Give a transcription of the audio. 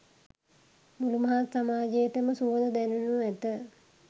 මුළු මහත් සමාජයටම සුවඳ දැනෙනු ඇත.